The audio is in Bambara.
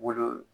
Wolo